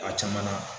A caman na